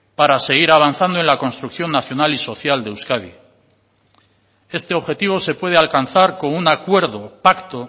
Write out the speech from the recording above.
para seguir avanzando en la construcción nacional y social de euskadi este objetivo se puede alcanzar con un acuerdo pacto